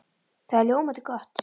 Það er ljómandi gott!